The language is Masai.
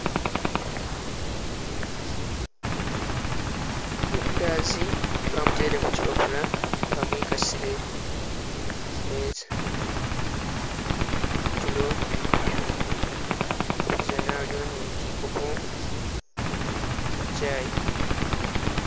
Mandazi bamutele kuchipapula bamwikasile kumeeza kutulo kupizana haliwo kikopo kya chai.